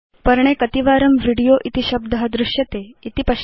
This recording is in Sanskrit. पर्णे कतिवारं वीडियो इति शब्द दृश्यते इति पश्यतु